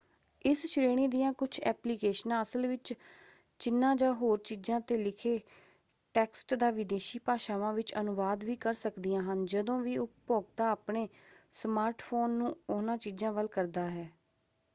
ਇਸ ਸ਼੍ਰੇਣੀ ਦੀਆਂ ਕੁਝ ਐਪਲੀਕੇਸ਼ਨਾਂ ਅਸਲ ਵਿੱਚ ਚਿਨ੍ਹਾਂ ਜਾਂ ਹੋਰ ਚੀਜ਼ਾਂ 'ਤੇ ਲਿਖੇ ਟੈਕਸਟ ਦਾ ਵਿਦੇਸ਼ੀ ਭਾਸ਼ਾਵਾਂ ਵਿੱਚ ਅਨੁਵਾਦ ਵੀ ਕਰ ਸਕਦੀਆਂ ਹਨ ਜਦੋਂ ਵੀ ਉਪਭੋਗਤਾ ਆਪਣੇ ਸਮਾਰਟਫ਼ੋਨ ਨੂੰ ਉਹਨਾਂ ਚੀਜ਼ਾਂ ਵੱਲ ਕਰਦਾ ਹੈ।